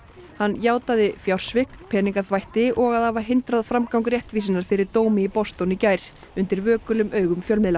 hann játaði fjársvik peningaþvætti og að hafa hindrað framgang réttvísinnar fyrir dómi í Boston í gær undir vökulum augum fjölmiðla